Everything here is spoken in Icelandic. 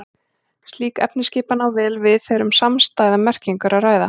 Slík efnisskipan á vel við þegar um samstæða merkingu er að ræða.